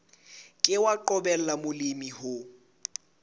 ke wa qobella molemi ho